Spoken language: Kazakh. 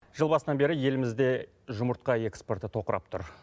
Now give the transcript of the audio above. жыл басынан бері елімізде жұмыртқа экспорты тоқырап тұр